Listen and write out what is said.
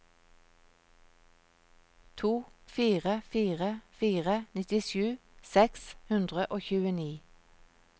to fire fire fire nittisju seks hundre og tjueni